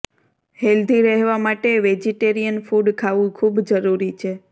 healthy રહેવા માટે vegetarian food ખાવું ખૂબ જરૂરી છે